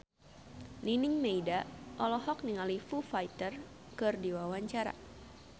Nining Meida olohok ningali Foo Fighter keur diwawancara